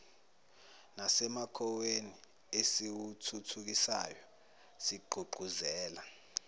nasemakhonweni esiwathuthukisayo sigqugquzela